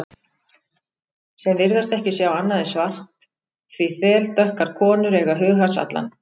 Sem virðast ekki sjá annað en svart, því þeldökkar konur eiga hug hans allan.